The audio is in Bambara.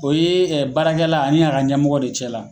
O ye baarakɛla ani a ka ɲɛmɔgɔ de cɛ la.